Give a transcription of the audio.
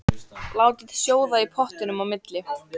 Látið sjóða í pottinum á milli.